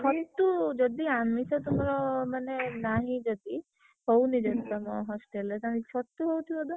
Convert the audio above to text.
ଛତୁ ଯଦି ଆମିଷ ତୁମର ମାନେ ନାହିଁ ଯଦି, ହଉନି ଯଦି ତମ hostel ରେ ତାହେଲେ ଛତୁ ହଉଥିବ ତ?